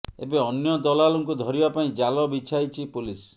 ଏବେ ଅନ୍ୟ ଦଲାଲଙ୍କୁ ଧରିବା ପାଇଁ ଜାଲ ବିଛାଇଛି ପୋଲିସ